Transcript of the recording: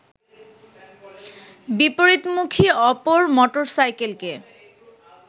বিপরীতমুখী অপর মোটরসাইকেলকে